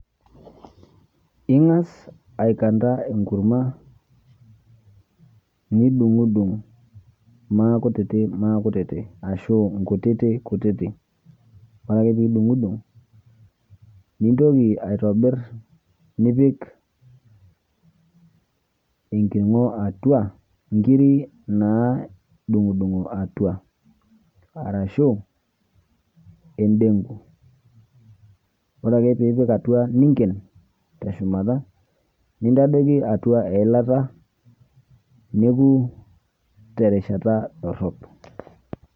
Ingas aikanda enkurma, nidungdung makutitik ashu nkutitik nkutitik, ore ake pidungudung nintoki aitobir nipik enkiringo atua nkirik nadungdungoatua ashu endengo ore ake piipik atua ninken teshumata nintadoki atia eilata neoku terishata dorop.